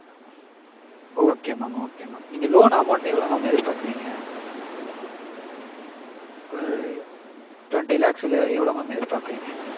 okay mam okay mam. நீங்க loan amount எவ்ளோ mam எதிர்பாக்கறீங்க? ஒரு twenty lakhs இல்ல எவ்ளோ mam எதிர்பாக்கறீங்க?